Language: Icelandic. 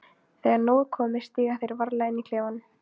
Þegar nóg er komið stíga þeir varlega inn í klefann.